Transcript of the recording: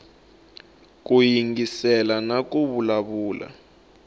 ku yingisela na ku vulavula